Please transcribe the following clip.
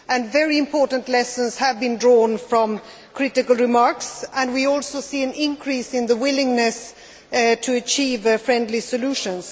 Very important lessons have been drawn from critical remarks made, and we also see an increase in the willingness to achieve friendly solutions.